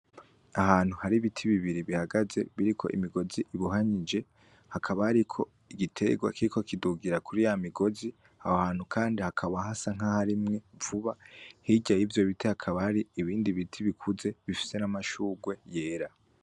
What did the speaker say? Ahantu hari ibiti bibiri bihagaze biriko imigozi ibuhanyije hakabariko igiterwa kiko kidugira kuri ya migozi ah hantu, kandi hakaba hasa nk'ahoarimwe vuba hiryaye ivyo bite hakabari ibindi biti bikuze bifise n'amashurwe yera.